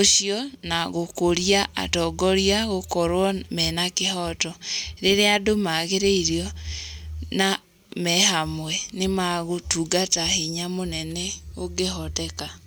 ũcio na gũkũria atongoria gũkorwo mena kĩhoto. Rĩrĩa andũ maagĩrĩirio na me hamwe, nĩ magũtungata hinya mũnene ũngĩhoteka.